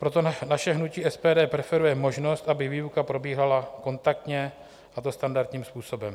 Proto naše hnutí SPD preferuje možnost, aby výuka probíhala kontaktně, a to standardním způsobem.